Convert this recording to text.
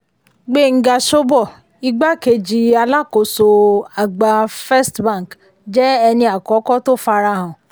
gbenga shobo ìgbákẹ̀jì um alákóso um àgbà first bank jẹ́ ẹni àkọ́kọ́ tó fara hàn.